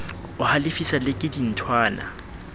o halefiswa le ke dinthwana